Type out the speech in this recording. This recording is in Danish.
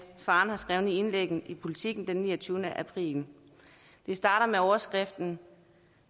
faren har skrevet i indlægget i politiken den niogtyvende april det starter med overskriften